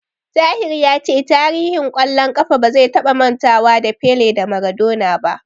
Tahir ya ce tarihin ƙwallon ƙafa ba zai taba mantawa da Pele da Maradona ba.